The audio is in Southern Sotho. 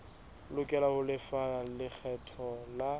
lokela ho lefa lekgetho la